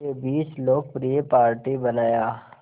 के बीच लोकप्रिय पार्टी बनाया